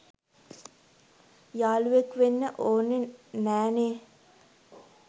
යාලුවෙක් වෙන්න ඕන නෑ නේ